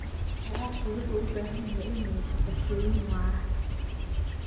Waraabka wuxuu u baahan yahay inuu yeesho qorshooyin waara.